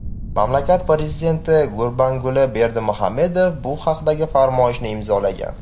Mamlakat prezidenti Gurbanguli Berdimuhamedov bu haqdagi farmoyishni imzolagan .